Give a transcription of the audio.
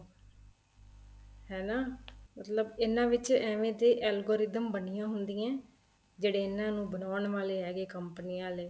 ਹਨਾ ਮਤਲਬ ਇਹਨਾ ਵਿੱਚ ਐਵੇ ਤੇ algorithm ਬਣੀਆਂ ਹੁੰਦੀਆਂ ਏ ਜਿਹੜੇ ਇਹਨਾ ਨੂੰ ਬਣਾਉਣ ਵਾਲੇ ਹੈਗੇ ਕੰਪਨੀਆਂ ਆਲੇ